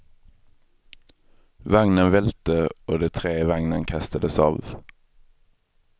Vagnen välte och de tre i vagnen kastades av.